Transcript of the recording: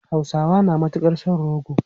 Hausawa na matukar son rogo.